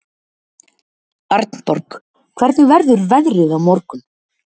Arnborg, hvernig verður veðrið á morgun?